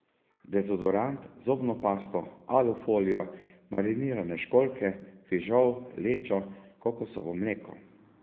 Dezodorant, zobno pasto, alufolijo, marinirane školjke, fižol, lečo, kokosovo mleko.